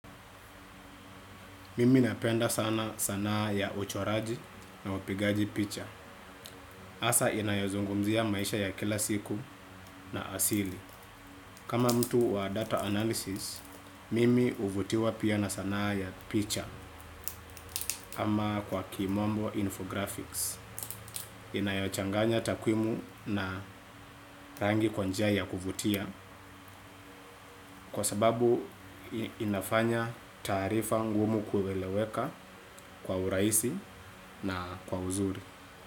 Mimi napenda sana sanaa ya uchoraji na upigaji picha hasa inayozungumzia maisha ya kila siku na asili kama mtu wa data analysis mimi huvutiwa pia na sanaa ya picha ama kwa kimombo infographics inayochanganya takwimu na rangi kwa njia ya kuvutia. Kwa sababu unafanya taarifa ngumu kuelewa kwa urahisi na kwa uzuri.